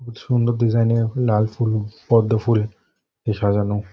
খুব সুন্দর ডিজাইন -এর লাল ফুল পদ্ম ফুল দিয়ে সাজানো।